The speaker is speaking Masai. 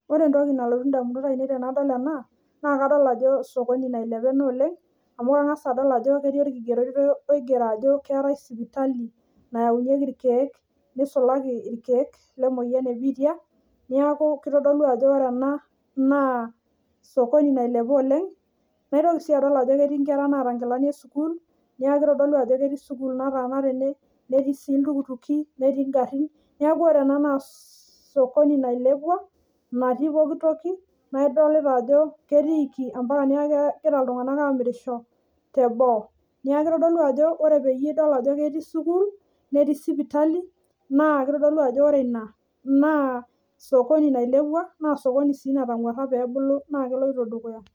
Ore entoki nalotu ndamunot ainei tenadol ena naa kado l ajo sokoni nailepa ena oleng amu kangaas addol ajo ketii orkigeroto oigero ajo keetae sipitali nayaunyeki rkiek neisulaki rkiek le moyian ee biitia niaku keitodolu ajo ore ena naa sokoni nailepa oleng naitoki sii adol ajo ketii nkerra naata nkilanik ee sukul niaku keitodolu ajo ketii sukul nataana tene netii sii ltukutuki netii ngarrin niaku ore ena naa sokoni nailepua natii pooki toki naa idol ajo ketiiki mpaka niaku kegira ltunganak amirisho teboo niaku keitodolu ajo ore peyie idol ajo ketii sukul netii sipitali naa keitodolu ajo ore ina naa sokoni nailepua naa sokoni sii natanguara pee ebulu naa keloito dukuya